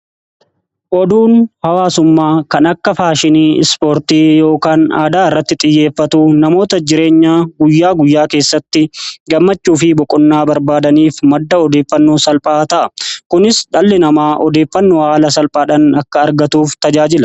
Oduun hawaasummaa kan akka faashinii ispoortii yookaan aadaa irratti xiyyeeffatu namoota jireenya guyyaa guyyaa keessatti gammachuu fi boqonnaa barbaadaniif madda odeeffannoo salphaa ta'a. Kunis dhalli namaa odeeffannoo haala salphaadhaan akka argatuuf tajaajila